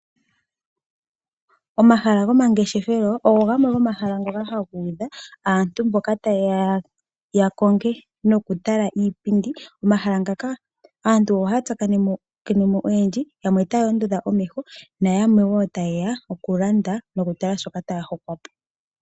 Omahala gomangeshefelo ogo gamwe gomahala ngoka haga udha aantu mboka taye ya yakonge nokutala iipindi. Omahala ngaka aantu ohaya tsakanene mo oyendji, yamwe otaya ondodha omeho nayamwe wo taye ya okulanda nokutala shoka taya hokwa po.